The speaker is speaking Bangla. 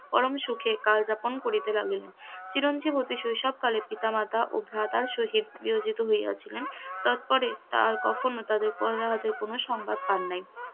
পরম সুখে কাল যাপন করিতে লাগিলেন, চিরঞ্জীব অতি শৈশবকালে পিতামাতা ও ভ্রাতার সহিত বিয়োজিত হইয়াছিলেন, তারপরে তার কখনো তাদের কন সংবাদ পান নাই,